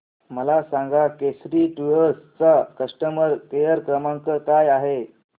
मला सांगा केसरी टूअर्स चा कस्टमर केअर क्रमांक काय आहे